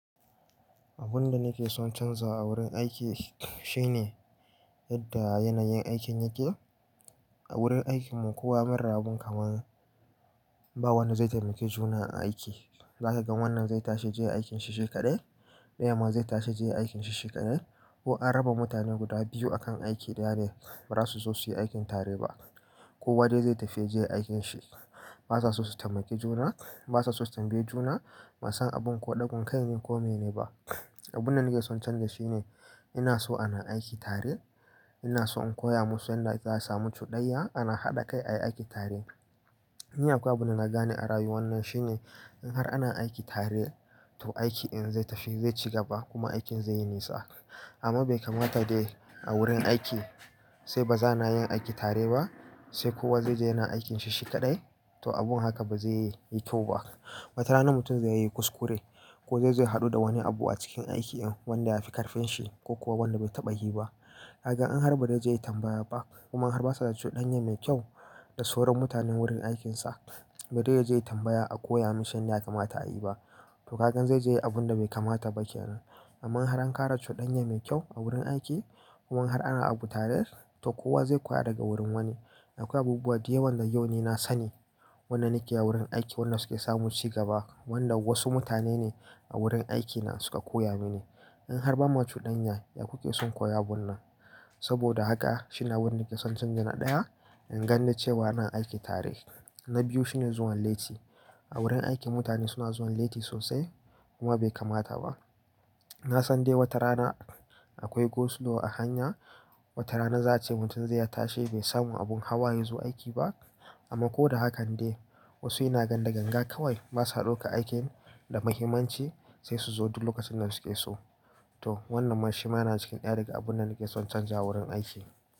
Abun da nake son canzawa a wurin aiki shine yadda yanayin aikin yake. A wurin aikinmu kowa mun rabu kamar ba wanda zai taimaki juna a aiki. Zaka ga wannan zai tashi yaje aikin shi shi kaɗai, ɗayan ma zai tashi yaje yayi aikin shi shi kaɗai. Ko an raba mutane guda biyu akan aiki ɗaya ne, ba za su so suyi aikin tare ba. Kowa dai zai tafi yaje yayi aikin shi, basu so su taimaki juna. Basu son su taimaki juna, bansan abun ko ɗaukar kaine ko mene ba abunda nake son na chanza shine ina so ana aiki tare, ina so in koya musu yadda ake a su samu cuɗanya ana haɗa kai ayi aiki tare. Ni akwai abunda na gane a rayuwar nan shine in har ana aiki tare to aiki ɗin zai tafi, zai ci gaba kuma aikin zai yi nisa. Amma bai kamata dai a wurin aiki a ce ba za'a na yin aiki tare ba, sai kowa zai zo yana aikinshi shi kaɗai, to abun haka ba zaiyi kyau ba wata rana mutum zai yi kuskure ko zai zo ya haɗu da wani abu a cikin aikin ɗin wanda ya fi ƙarfin shi ko kuwa wanda bai taɓa yi ba. A ga in har ba zaizo ya tambaya ba, kuma har basu da cuɗanya mai kyau da sauran mutanen wurin aikinsa, ba zaizo ya tambaya a koya masa yanda ya kamata ayi ba to kagan zai zo yayi abunda bai kamata ba kenan. Amma in har an ƙara cudanya mai kyau a wurin aiki kuma in har ana abu tare, to kowa zai koya daga wurin wani. Akwai abubuwa dayawan da yau ni na sani wanda nake a wurin aiki wanda suke samu ci gaba, wanda wasu mutane ne a wurin aikina suka koya mini. In har ba macuɗanya ya ku ke son koya wannan. Saboda haka shine abunda nake son canja na ɗaya, in ganni cewa ana aiki tare. Na biyu shine zuwan lati. A wurin aiki mutane suna zuwan lati sosai kuma bai kamata ba. Na san dai wata rana akwai go slow a hanya, wata rana za a ce mutum za'a ce mutum zai iya tashi bai samu abun hawa yazo aiki ba. Amma ko da haka dai wasu ina ga da gangan kawai basa ɗaukar aikin da muhimmanci sai su zo duk lokacin da su ke so. To wannan ma shima yana cikin ɗaya daga abun da nake son canza wurin aiki.